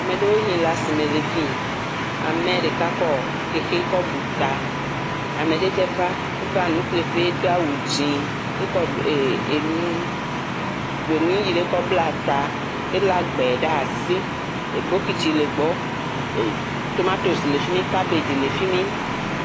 Ame ɖewo Yi kle asime le afii. Ame ɖeka kɔ xexi kɔ bu ta. Ame ɖe tse va enuƒleƒe doa wu dzi ekɔ enu gbɛnu yi ɖe kɔ bla eta. ele gbɛ ɖe asi. bɔkiti le gbɔ. Tomatosi le fi mi, kabadzi le fi mi.